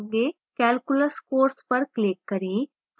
calculus course पर click करें